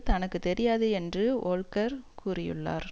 தனக்கு தெரியாது என்று வோல்க்கர் கூறியுள்ளார்